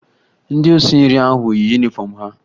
Ndị osinri ahụ yi yunifọmụ ha